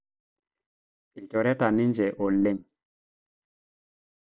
Lnjoreta ninje oleng